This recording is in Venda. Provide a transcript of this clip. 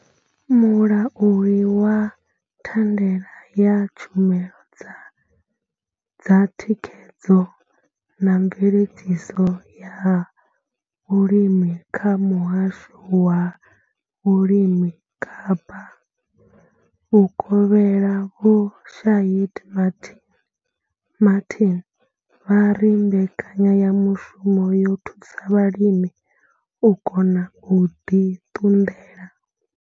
Mulauli wa thandela ya tshumelo dza thikhedzo na mveledziso ya vhulimi kha muhasho wa vhulimi Kapa Vhukovhela vho Shaheed Martin vha ri mbekanyamushumo yo thusa vhalimi u kona u ḓi ṱunḓela.